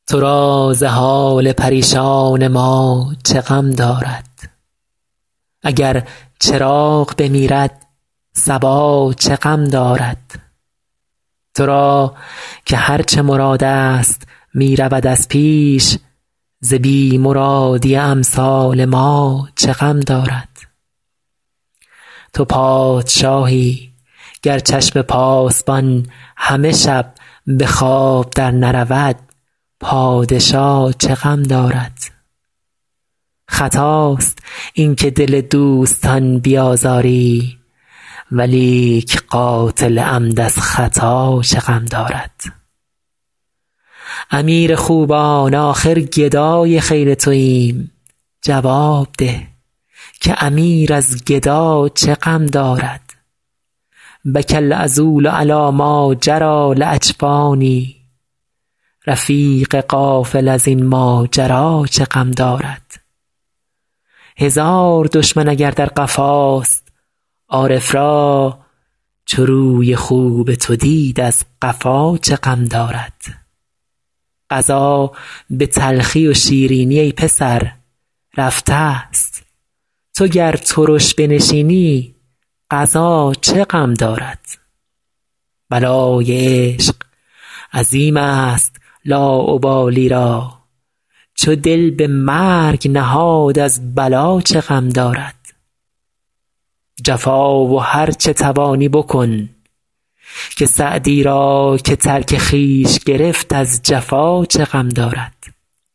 تو را ز حال پریشان ما چه غم دارد اگر چراغ بمیرد صبا چه غم دارد تو را که هر چه مرادست می رود از پیش ز بی مرادی امثال ما چه غم دارد تو پادشاهی گر چشم پاسبان همه شب به خواب درنرود پادشا چه غم دارد خطاست این که دل دوستان بیازاری ولیک قاتل عمد از خطا چه غم دارد امیر خوبان آخر گدای خیل توایم جواب ده که امیر از گدا چه غم دارد بکی العذول علی ماجری لاجفانی رفیق غافل از این ماجرا چه غم دارد هزار دشمن اگر در قفاست عارف را چو روی خوب تو دید از قفا چه غم دارد قضا به تلخی و شیرینی ای پسر رفتست تو گر ترش بنشینی قضا چه غم دارد بلای عشق عظیمست لاابالی را چو دل به مرگ نهاد از بلا چه غم دارد جفا و هر چه توانی بکن که سعدی را که ترک خویش گرفت از جفا چه غم دارد